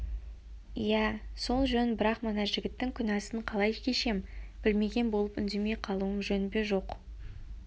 иә сол жөн бірақ мына жігіттің күнәсін қалай кешем білмеген болып үндемей қалуым жөн бе жоқ